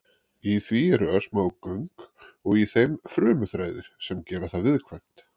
Í því eru örsmá göng og í þeim frumuþræðir sem gera það viðkvæmt.